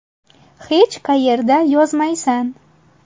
Hech qayerda yozmaysan.